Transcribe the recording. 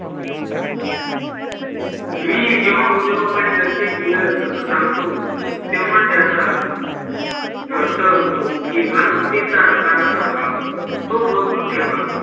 मी जेव्हा उद्योगाकडे लक्ष दिल तस सांगतो तेव्हा त्याचा अर्थ असतो कीं मालमत्तेचा रकाना सांभाळ तो मजबूत ठेवा